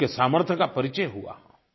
उनके सामर्थ्य का परिचय हुआ